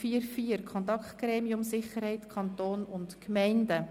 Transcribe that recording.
4.4 Kontaktgremium Sicherheit Kanton und Gemeinden